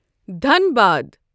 Dhanbad